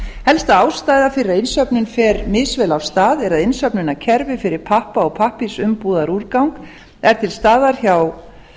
helsta ástæða fyrir að innsöfnun fer misvel af stað er að innsöfnunarkerfi fyrir pappa og pappírsumbúðaúrgang er til staðar hjá